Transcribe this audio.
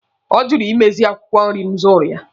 Ọ jụrụ ịmeziri m akwụkwọ nri m zụrụ ya.